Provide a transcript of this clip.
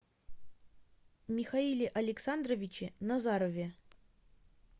михаиле александровиче назарове